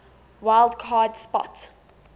wild card spot